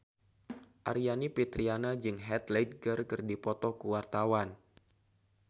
Aryani Fitriana jeung Heath Ledger keur dipoto ku wartawan